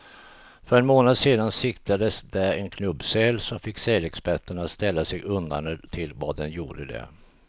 För en månad sedan siktades där en knubbsäl, som fick sälexperterna att ställa sig undrande till vad den gjorde där.